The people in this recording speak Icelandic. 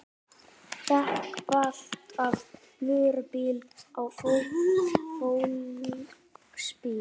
Dekk valt af vörubíl á fólksbíl